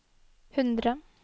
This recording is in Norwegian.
hundre